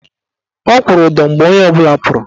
Ọ kwụrụ ụdọ mgbe onye ọbụla pụrụ.